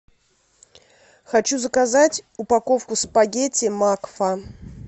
хочу заказать упаковку спагетти макфа